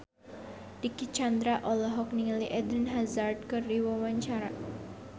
Dicky Chandra olohok ningali Eden Hazard keur diwawancara